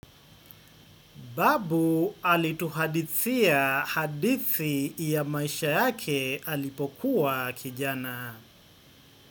Babu alituhadithia hadithi ya maisha yake alipokuwa kijana.